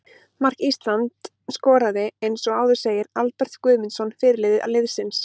Mark Ísland skoraði eins og áður segir Albert Guðmundsson, fyrirliði liðsins.